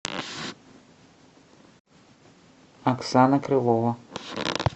оксана крылова